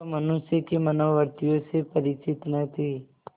वह मनुष्य की मनोवृत्तियों से परिचित न थी